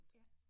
Ja